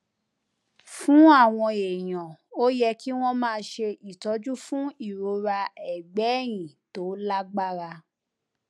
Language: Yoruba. fún àwọn èèyàn ó yẹ kí wón máa ṣe ìtọjú fún ìrora ẹgbẹ ẹyìn tó lágbára